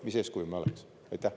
Mis eeskuju me oleks?